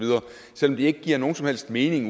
selv om det ikke giver nogen som helst mening